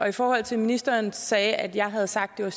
i forhold til at ministeren sagde at jeg havde sagt at